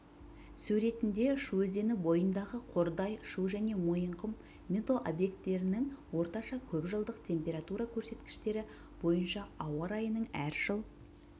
суреттінде шу өзені бойындағы қордай шу және мойынқұм метеобекеттерінің орташа көпжылдық температура көрсеткіштері бойынша ауа райының әр жыл